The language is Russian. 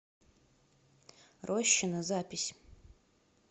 рощино запись